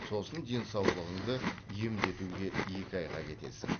сосын денсаулығыңды емдетуге екі айға кетесің